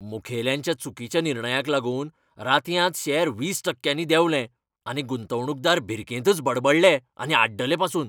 मुखेल्यांच्या चुकीच्या निर्णयाक लागून रातयांत शॅर वीस टक्क्यांनी देंवले आनी गुंतवणूकदार भिरकेंतच बडबडले आनी आड्डले पासून.